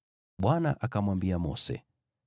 Bwana akamwambia Mose,